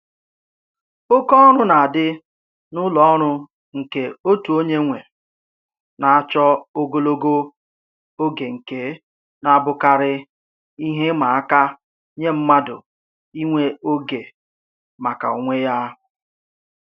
Oke ọrụ na-adị n'ụlọ ọrụ nke otu onye nwe na-achọ ogologo oge nke na-abụkarị ihe ịma aka nye mmadụ inwe oge maka onwe ya